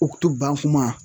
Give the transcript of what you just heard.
Uktu ban kuma